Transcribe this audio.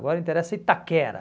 Agora interessa Itaquera.